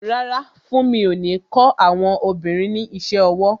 Rárá, funmi o ní kó àwọn obìnrin ní isẹ ọwọ́